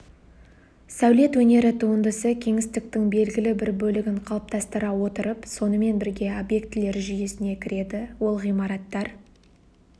сәулет өнері туындысы кеңістіктің белгілі бір бөлігін қалыптастыра отырып сонымен бірге объектілер жүйесіне кіреді ол ғимараттар